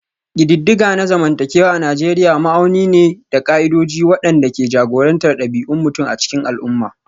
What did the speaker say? Ƙididdiga na zamantakewa a Nijeriya ma'auni ne da ƙa'idodi waɗanda ke jagorantar ɗabi'un mutum a cikin al'umma